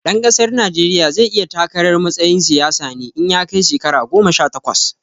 Ɗan ƙasar Najeriya zai iya takarar matsayin siyasa ne in ya kai shekara goma sha takwas